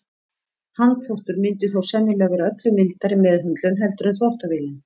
Handþvottur myndi þó sennilega vera öllu mildari meðhöndlun heldur en þvottavélin.